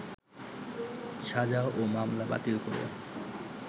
সাজা ও মামলা বাতিল করে